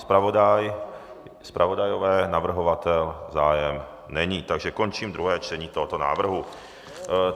Zpravodajové, navrhovatel - zájem není, takže končím druhé čtení tohoto návrhu.